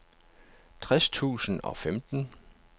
tres tusind og femten